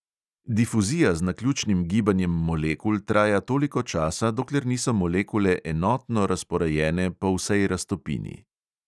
Difuzija z naključnim gibanjem molekul traja toliko časa, dokler niso molekule enotno razporejene po vsej raztopini.